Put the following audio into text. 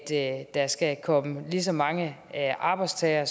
at der skal komme lige så mange arbejdstagere